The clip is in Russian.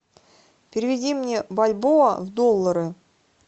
переведи мне бальбоа в доллары